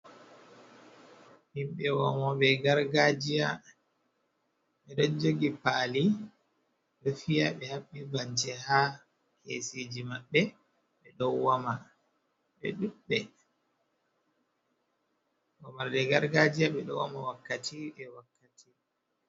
Himɓe wamoɓe gargajiya. Be ɗon jogi pali, ɗo fiya ɓe haɓɓi bance ha kesiji maɓɓe ɓe ɗo wama, ɓe ɗuɓɓe. wamarde gargajiya ɓe ɗo wama wakkati be wakkati.